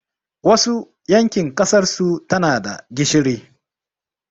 Wasu yankin ƙasarsu tanada gishiri